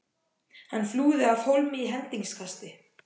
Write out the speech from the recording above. Hann flúði af hólmi í hendingskasti.